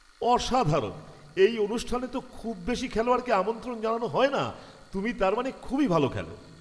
অসাধারণ! এই অনুষ্ঠানে তো খুব বেশি খেলোয়াড়কে আমন্ত্রণ জানানো হয় না। তুমি তার মানে খুবই ভালো খেলো!